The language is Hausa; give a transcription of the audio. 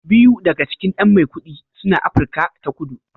Biyu daga cikin ɗan Maikudi suna Afirka ta Kudu